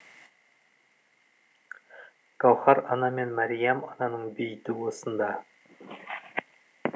гәуһар ана мен мәриям ананың бейіті осында